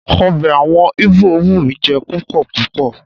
Ọbẹ̀ àwọn Íbò wù mí jẹ púpọ̀ púpọ̀.